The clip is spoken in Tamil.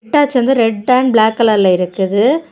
ஹிட்டாச்சி வந்து ரெட் அண்ட் பிளாக் கலர்ல இருக்குது.